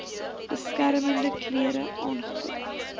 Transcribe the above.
beskermende klere aangekoop